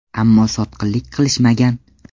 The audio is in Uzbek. Ammo sotqinlik qilishmagan.